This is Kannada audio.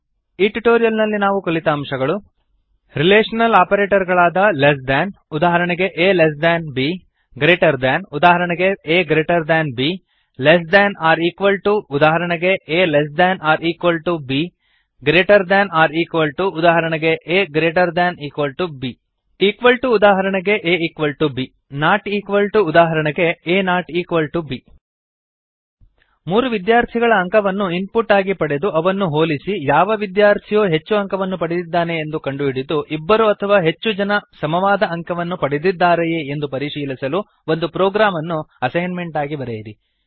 ಈ ಟ್ಯುಟೋರಿಯಲ್ ನಲ್ಲಿ ನಾವು ಕಲಿತ ಅಂಶಗಳು160 ರಿಲೇಶನಲ್ ಆಪರೇಟರ್ ಗಳಾದ ಲೆಸ್ ದ್ಯಾನ್ ಉದಾಹರಣೆಗೆ a less than b greater than ಉದಾಹರಣೆಗೆ a greater than b less than or equal to ಉದಾಹರಣೆಗೆ a less than or equal ಟುb greater than or equal to ಉದಾಹರಣೆಗೆ aಗ್ರೇಟರ್ than or equal to b equal to ಉದಾಹರಣೆಗೆ a equal to b not equal to ಉದಾಹರಣೆಗೆ a not equal to b ಮೂರು ವಿದ್ಯಾರ್ಥಿಗಳ ಅಂಕವನ್ನು ಇನ್ಪುಟ್ ಆಗಿ ಪಡೆದು ಅವನ್ನು ಹೋಲಿಸಿ ಯಾವ ವಿದ್ಯಾರ್ಥಿಯು ಹೆಚ್ಚು ಅಂಕವನ್ನು ಪಡೆದಿದ್ದಾನೆ ಎಂದು ಕಂಡುಹಿಡಿದುಇಬ್ಬರು ಅಥವಾ ಹೆಚ್ಚು ಜನ ಸಮಾವಾದ ಅಂಕವನ್ನು ಪಡೆದಿದ್ದಾರೆಯೇ ಎಂದು ಪರಿಶೀಲಿಸಲು ಒಂದು ಪ್ರೊಗ್ರಾಮ್ ಅನ್ನು ಅಸೈನ್ಮೆಂಟ್ ಆಗಿ ಬರೆಯಿರಿ